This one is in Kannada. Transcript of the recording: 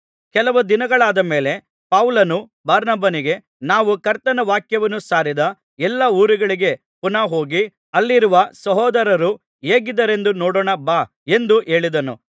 ಕೆಲವು ದಿನಗಳಾದ ಮೇಲೆ ಪೌಲನು ಬಾರ್ನಬನಿಗೆ ನಾವು ಕರ್ತನ ವಾಕ್ಯವನ್ನು ಸಾರಿದ ಎಲ್ಲಾ ಊರುಗಳಿಗೆ ಪುನಃ ಹೋಗಿ ಅಲ್ಲಿರುವ ಸಹೋದರರು ಹೇಗಿದ್ದಾರೆಂದು ನೋಡೋಣ ಬಾ ಎಂದು ಹೇಳಿದನು